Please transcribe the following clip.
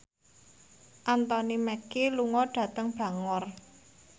Anthony Mackie lunga dhateng Bangor